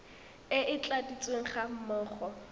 e e tladitsweng ga mmogo